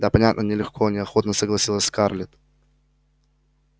да понятно нелегко неохотно согласилась скарлетт